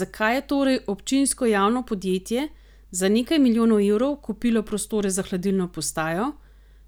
Zakaj je torej občinsko javno podjetje za nekaj milijonov evrov kupilo prostore za hladilno postajo,